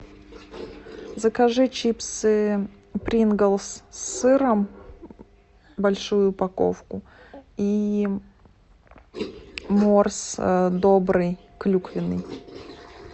закажи чипсы принглс с сыром большую упаковку и морс добрый клюквенный